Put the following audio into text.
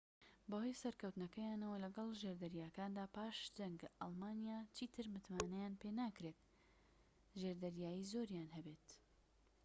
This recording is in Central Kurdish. بەهۆی سەرکەوتنەکەیانەوە لەگەڵ ژێردەریاکاندا پاش جەنگ ئەڵمانیا چیتر متمانەیان پێناکرێت ژێردەریایی زۆریان هەبێت